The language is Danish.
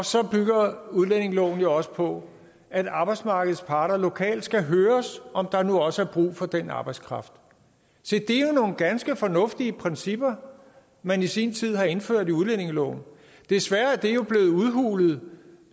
så bygger udlændingeloven jo også på at arbejdsmarkedets parter lokalt skal høres om der nu også er brug for den arbejdskraft se det er jo nogle ganske fornuftige principper man i sin tid har indført i udlændingeloven desværre er det jo blevet udhulet